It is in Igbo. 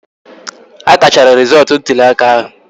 A kachara rizootu ntụli aka ahụ